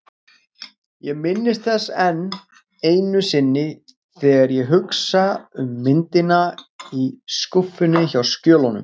Ég minnist þess enn einu sinni, þegar ég hugsa um myndina í skúffunni hjá skjölunum.